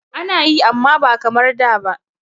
Ana yi amma ba kamar da ba.